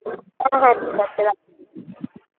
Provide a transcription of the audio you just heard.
হ্যাঁ হ্যাঁ ঠিকাছে রাখি